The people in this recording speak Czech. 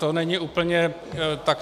To není úplně tak.